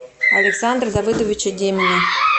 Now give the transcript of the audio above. александра давыдовича демина